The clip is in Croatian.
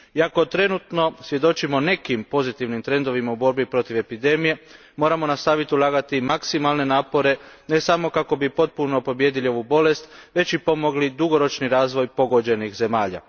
Iako trenutačno svjedočimo nekim pozitivnim trendovima u borbi protiv epidemije, moramo nastaviti ulagati maksimalne napore, ne samo kako bi potpuno pobijedili ovu bolest već i pomogli dugoročni razvoj pogođenih zemalja.